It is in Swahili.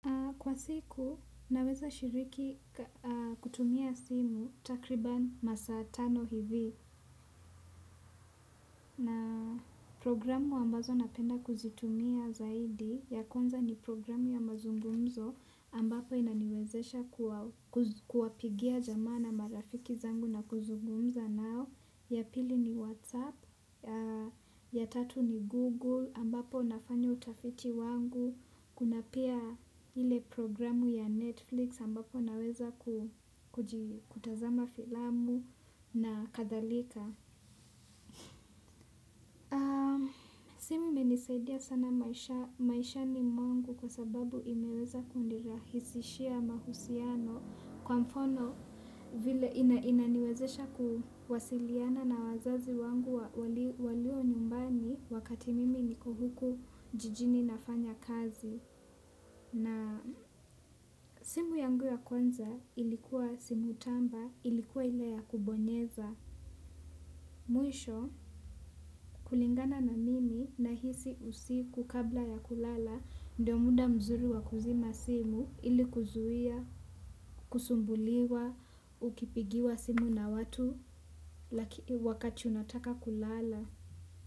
Kwa siku naweza shiriki kutumia simu takriban masaa tano hivi na programu ambazo napenda kuzitumia zaidi ya kwanza ni programu ya mazungumzo ambapo inaniwezesha kuapigia jamaa na marafiki zangu na kuzugumza nao ya pili ni whatsapp ya tatu ni google ambapo nafanya utafiti wangu. Kuna pia ile program ya Netflix ambapo naweza kutazama filamu na kadhalika. Simu imenisaidia sana maishani mwangu kwa sababu imeweza kunirahisishia mahusiano kwa mfano vile inaniwezesha kuwasiliana na wazazi wangu walio nyumbani wakati mimi niko huku jijini nafanya kazi. Na simu yangu ya kwanza ilikuwa simu tamba ilikuwa ile ya kubonyeza. Mwisho kulingana na mimi nahisi usiku kabla ya kulala ndio muda mzuri wa kuzima simu ili kuzuia, kusumbuliwa, ukipigiwa simu na watu lakini wakati unataka kulala.